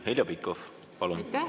Heljo Pikhof, palun!